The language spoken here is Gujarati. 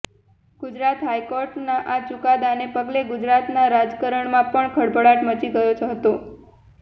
ગુજરાત હાઇકોર્ટના આ ચુકાદાને પગલે ગુજરાતના રાજકારણમાં પણ ખળભળાટ મચી ગયો હતો